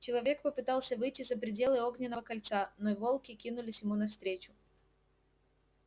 человек попытался выйти за пределы огненного кольца но волки кинулись ему навстречу